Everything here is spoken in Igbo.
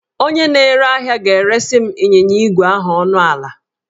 Onye na-ere ahịa ga-eresị m ịnyịnya ígwè ahụ ọnụ ala